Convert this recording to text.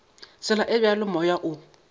tsela e bjalo moya o